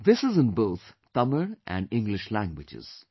This is in both Tamil and English languages